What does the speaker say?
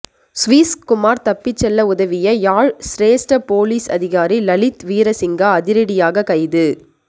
Swiss Kumar தப்பி செல்ல உதவிய யாழ் சிரேஸ்ட பொலிஸ் அதிகாரி லலித் வீர சிங்கா அதிரடியாக கைது